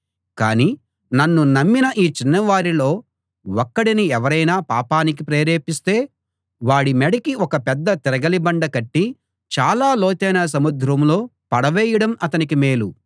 కానీ నన్ను నమ్మిన ఈ చిన్నవారిలో ఒక్కడిని ఎవరైనా పాపానికి ప్రేరేపిస్తే వాడి మెడకి ఒక పెద్ద తిరగలి బండ కట్టి చాలా లోతైన సముద్రంలో పడవేయడం అతనికి మేలు